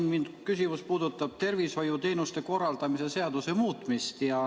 Aga minu küsimus puudutab tervishoiuteenuste korraldamise seaduse muutmist.